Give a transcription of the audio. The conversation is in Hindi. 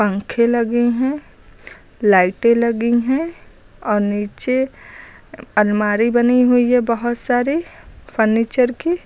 पंखे लगे हैं। लाइटें लगी हैं और नीचे अलमारी बनी हुई है बहुत सारी फर्नीचर की।